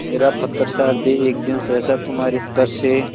मेरा पत्थरसा हृदय एक दिन सहसा तुम्हारे स्पर्श से